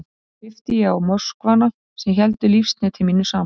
Þar með klippti ég á möskvana sem héldu lífsneti mínu saman.